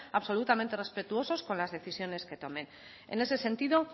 absolutamente respetuosos con las decisiones que tomen en ese sentido